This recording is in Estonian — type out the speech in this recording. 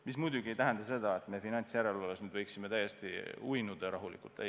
See muidugi ei tähenda seda, et me finantsjärelevalves võiksime nüüd täiesti rahulikult uinuda.